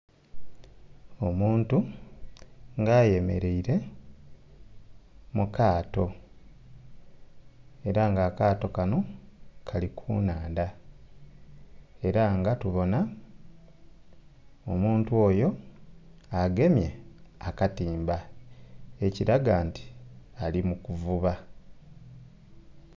Omuntu nga ayemereire mu kaato era nga akaato kano kali ku nnhandha era nga tubona omuntu oyo agemye akatimba ekiraga nti ali mu kuvuba.